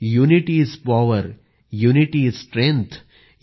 unity is power unity is strength